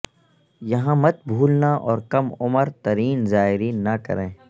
یہاں مت بھولنا اور کم عمر ترین زائرین نہ کریں